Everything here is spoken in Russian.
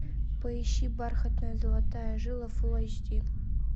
поищи бархатная золотая жила фул эйч ди